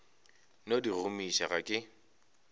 no di gomiša ga ke